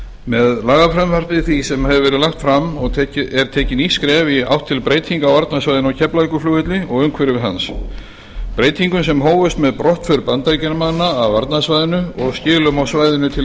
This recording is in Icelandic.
með lagafrumvarpi því sem hér hefur verið lagt fram er tekið nýtt skref í átt til breytinga á varnarsvæðinu á keflavíkurflugvelli og umhverfi hans breytingum sem hófust með brottför bandaríkjamanna af varnarsvæðinu og skilum á svæðinu til